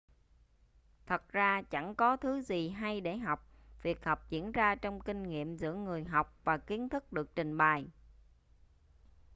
thật ra chẳng có thứ gì hay để học việc học diễn ra trong kinh nghiệm giữa người học và kiến thức được trình bày